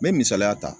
Me misaliya ta